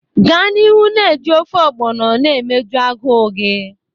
Gaa n'ihu na-eji ofe ogbono na emeju agụụ gị.